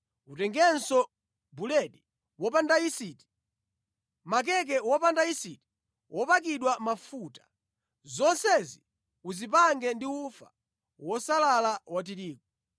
Utengenso buledi wopanda yisiti, makeke wopanda yisiti wopakidwa mafuta. Zonsezi uzipange ndi ufa wosalala wa tirigu.